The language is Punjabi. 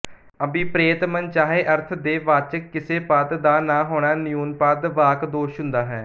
ਅਭਿਪ੍ਰੇਤ ਮਨਚਾਹੇ ਅਰਥ ਦੇ ਵਾਚਕ ਕਿਸੇ ਪਦ ਦਾ ਨਾ ਹੋਣਾ ਨਿਊਨਪਦ ਵਾਕਦੋਸ਼ ਹੁੰਦਾ ਹੈ